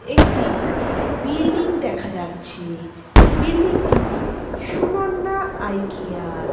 একটি বিল্ডিং দেখা যাচ্ছে। বিল্ডিংটি সুননা আই কেয়ার ।